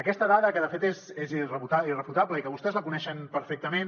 aquesta dada que de fet és irrefutable i que vostès la coneixen perfectament